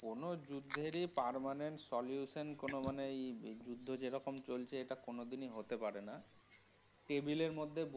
কোনো যুদ্ধেরই permanent solution কোনও মানে এই এই যুদ্ধ যেরকম চলছে এটা কোনও দিনই হতে পারেনা। table এর মধ্যে।